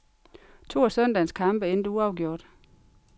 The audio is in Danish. To af søndagens kampe endte uafgjort.